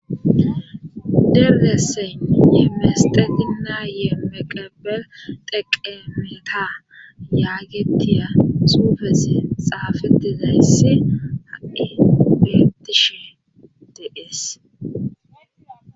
derdesseyn ye meste ginnaayee meqebel teqe miita yaagetiya suufesi xaafitizayssi hai gebtishe deees